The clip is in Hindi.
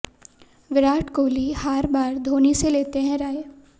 विराट कोहली हार बार धोनी से लेते हैं राय